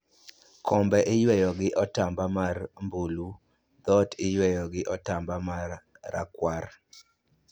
Kombe iyweyo gi otamba mar mbulu, dhoot iyweyo gi otamba mar rakwar